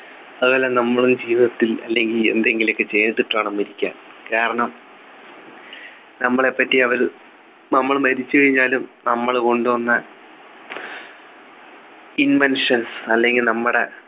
അതുപോലെ നമ്മളും ജീവിതത്തിൽ അല്ലെങ്കിൽ എന്തെങ്കിലുമൊക്കെ ചെയ്തിട്ട് വേണം മരിക്കാൻ കാരണം നമ്മളെപ്പറ്റി അവര് നമ്മൾ മരിച്ചു കഴിഞ്ഞാലും നമ്മൾ കൊണ്ടുവന്ന inventions അല്ലെങ്കിൽ നമ്മുടെ